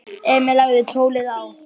Emil lagði tólið á.